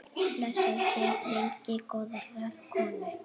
Blessuð sé minning góðrar konu.